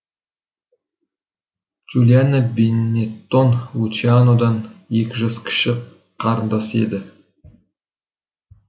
джулиана бенеттон лучианодан екі жас кіші қарындасы еді